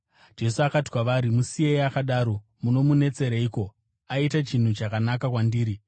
Jesu akati kwavari, “Musiyei akadaro. Munomunetsereiko? Aita chinhu chakanaka kwandiri.